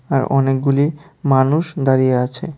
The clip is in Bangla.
আর অনেকগুলি মানুষ দাঁড়িয়ে আছে।